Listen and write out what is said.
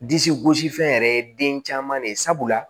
Disi gosi fɛn yɛrɛ ye den caman de ye sabula